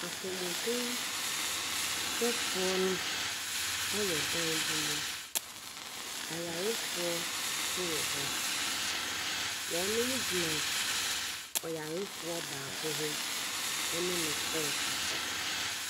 Apɔmuden hwɛfoɔ no ɛwɔ dan bi mu. Ayarefoɔ so wɔ hɔ. Wɔnomo gyina ɔyarefoɔ baako ho ɛne no ɛɛkasa.